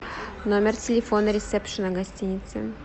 номер телефона ресепшена гостиницы